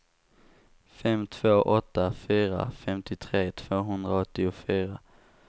fem två åtta fyra femtiotre tvåhundraåttiofyra